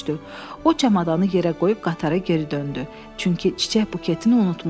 O çamadanı yerə qoyub qatara geri döndü, çünki çiçək buketini unutmuşdu.